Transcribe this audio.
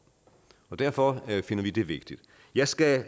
og derfor finder vi det vigtigt jeg skal